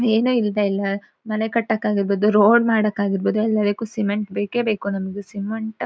ಏನೇ ಇಲ್ದೆ ಎಲ್ಲಾ ಮನೆ ಕಟ್ಟಕ್ ಆಗಿರಬೋದು ರೋಡ್ ಮಾಡಕ್ ಆಗಿರಬೋದು ಎಲ್ಲದಕ್ಕೂ ಸಿಮೆಂಟ್ ಬೇಕೇ ಬೇಕು ನಮ್ಗ್ ಸಿಮೆಂಟ್ --